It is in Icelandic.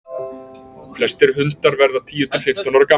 flestir hundar verða tíu til fimmtán ára gamlir